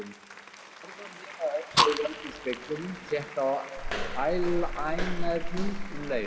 Hún horfði á mig með öðru auganu í speglinum, tékkaði á ælænernum um leið.